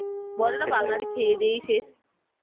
বলে বাঙালি খেয়ে দেই শেষ